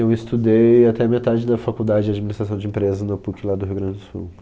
Eu estudei até a metade da faculdade de administração de empresas na PUC lá do Rio Grande do Sul.